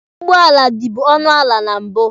Ụgbọala dibu ọnụ ala na mbụ.